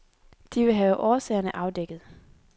De vil have årsagerne afdækket.